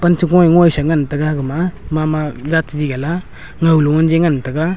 pan cha go nyuisa ngan taga gama mama jat chagi gala ngaw nganji ngan taga.